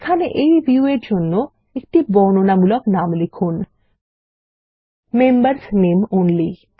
এখানে এই ভিউ এর জন্য একটি বর্ণনামূলক নাম লিখুন160 মেম্বার্স নামে অনলি